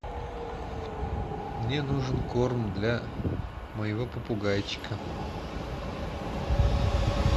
мне нужен корм для моего попугайчика